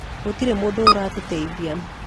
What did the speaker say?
Gutirĩ mũndũ uratũteithia